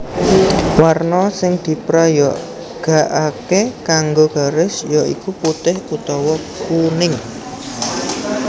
Warna sing diprayogakaké kanggo garis ya iku putih utawa kuning